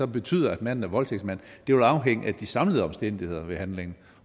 betyder at manden er voldtægtsmand vil afhænge af de samlede omstændigheder ved handlingen